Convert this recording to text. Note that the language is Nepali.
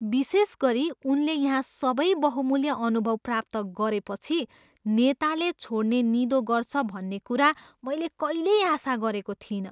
विशेष गरी उनले यहाँ सबै बहुमूल्य अनुभव प्राप्त गरेपछि, नेताले छोड्ने निधो गर्छ भन्ने कुरा मैले कहिल्यै आशा गरेको थिइनँ।